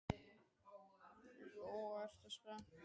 Lóa: Ertu spenntur?